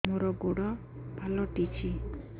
ମୋର ଗୋଡ଼ ପାଲଟିଛି